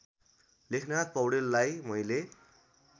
लेखनाथ पौड्याललाई मैले